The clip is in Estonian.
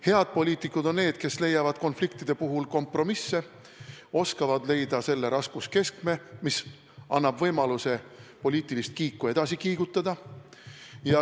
Head poliitikud on need, kes leiavad konfliktide puhul kompromisse, oskavad leida selle raskuskeskme, mis annab võimaluse poliitilist kiike edasi kiigutada.